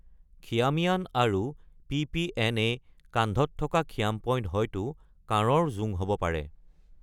খিয়ামিয়ান আৰু পি.পি.এন. এ. কান্ধত থকা খিয়াম-পইণ্ট হয়তো কাঁড়ৰ জোং হ’ব পাৰে।